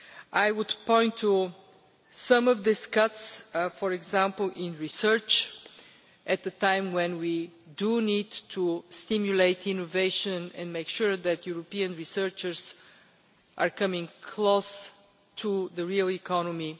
I would point to some of these cuts, for example in research, at a time when we need to stimulate innovation and make sure that European researchers are coming close to the real economy.